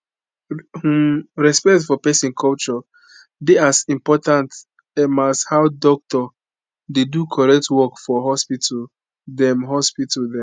hmmm respect for peson culture dey as important emas how doc dey do correct work for hospital dem hospital dem